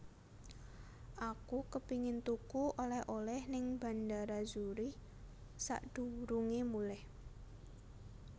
Aku kepingin tuku oleh oleh ning Bandara Zurich sakdurunge mulih